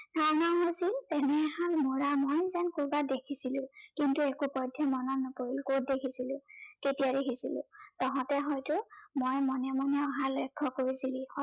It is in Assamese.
এনে এহাল মৌৰা মই যেন কৰবাত দেখিছিলো, কিন্তু একো পধ্য়েই মনত নপৰিল, কত দেখিছিলো, কেতিয়া দেখিছিলো। তহঁতে হয়তো মই মনে মনে অহা লক্ষ্য় কৰিছিলি।